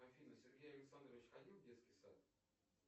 афина сергей александрович ходил в детский сад